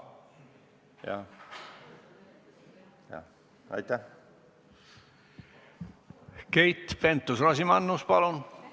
Keit Pentus-Rosimannus, palun!